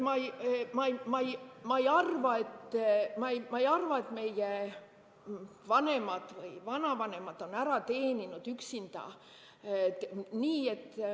Ma ei arva, et meie vanemad või vanavanemad on ära teeninud üksinduse.